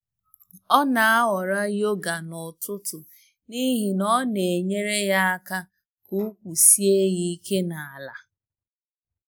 Ọ na-ahọrọ yoga n'ụtụtụ n'ihi na ọ na-enyere ya ya aka ka ukwu sie ya ike n'ala.